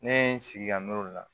Ne ye n sigi ka n'olu la